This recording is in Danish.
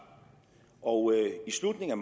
og i slutningen af